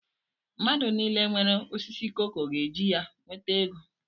Mmadụ nile nwere osisi koko ga eji ya nweta ego